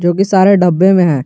जोकि सारे डब्बे में है।